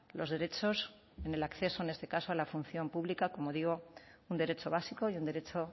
los derechos del acceso en este caso a la función pública como digo un derecho básico y un derecho